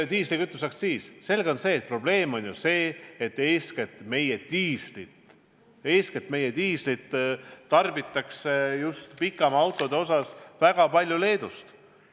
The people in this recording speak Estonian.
Diislikütuse aktsiisi puhul on probleem ju see, et diislikütust ostetakse eeskätt pikamaa-autode jaoks väga palju Leedust.